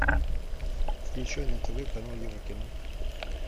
включай на тв канал еврокино